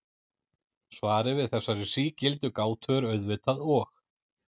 Svarið við þessari sígildu gátu er auðvitað og.